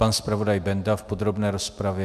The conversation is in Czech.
Pan zpravodaj Benda v podrobné rozpravě.